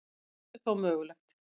Allt er þó mögulega